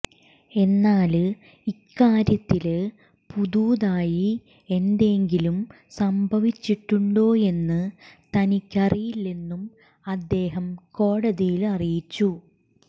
എന്നാല് ഇക്കാര്യത്തില് പുതുതായി എന്തെങ്കിലും സംഭവിച്ചിട്ടുണ്ടോയെന്ന് തനിക്കറിയില്ലെന്നും അദ്ദേഹം കോടതിയില് അറിയിച്ചു